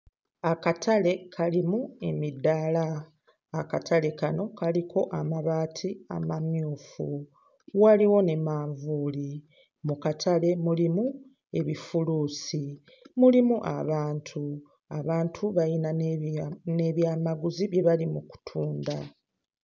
Akatale kalimu emidaala, akatale kano kaliko amabaati amamyufu, waliwo ne manvuuli. Mu katale mulimu ebifuluusi, mulimu abantu; abantu balina n'ebya... n'ebyamaguzi bye bali mu kutunda.